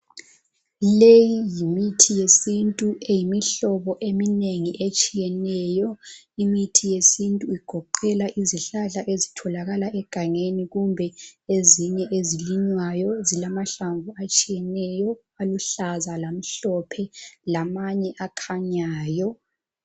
Leyi yimithi yesintu eyimihlobo eminengi etshiyeneyo, imithi yesintu igoqela izihlahla ezitholakala egangeni kumbe ezinye ezilinywayo, zilamahlamvu atshiyeneyo aluhlaza, lamhlophe lamanye akhanyayo.